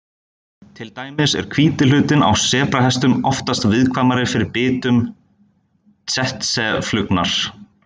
Til dæmis er hvíti hlutinn á sebrahestum oftast viðkvæmari fyrir bitum tsetseflugunnar.